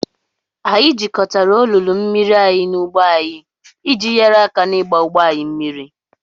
Anyị jikọtara olulu mmiri anyị na ugbo anyị iji nyere aka n'ịgba ugbo anyị mmiri.